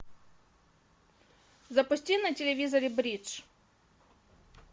запусти на телевизоре бридж